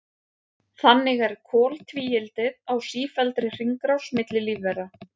Þannig er koltvíildið á sífelldri hringrás milli lífvera.